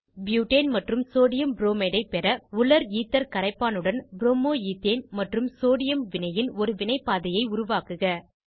butane ஆம்ப் sodium bromide ஐ பெற உலர் ஈத்தர் கரைப்பான் உடன் ப்ரோமோ ஈத்தேன் மற்றும் சோடியம் வினையின் ஒரு வினைப்பாதையை உருவாக்குக